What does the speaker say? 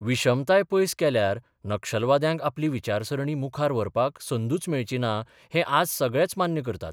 विशमताय पयस केल्यार नक्षलवाद्यांक आपली विचारसरणी मुखार व्हरपाक संदूच मेळची ना हें आज सगळेच मान्य करतात.